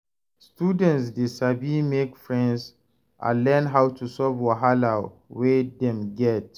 Students de sabi make friends and learn how to solve wahala wey dem get